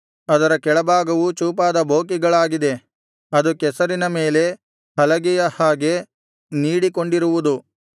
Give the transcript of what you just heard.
ಅದರ ಕೆಳಭಾಗವು ಚೂಪಾದ ಬೋಕಿಗಳಾಗಿದೆ ಅದು ಕೆಸರಿನ ಮೇಲೆ ಹಲಗೆಯ ಹಾಗೆ ನೀಡಿಕೊಂಡಿರುವುದು